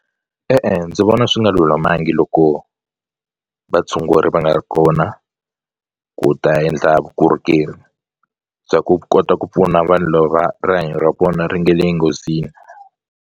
E-e, ndzi vona swi nga lulamangi loko vatshunguri va nga ri kona ku ta endla vukorhokeri bya ku kota ku pfuna vanhu lava rihanyo ra kona ri nge le nghozini.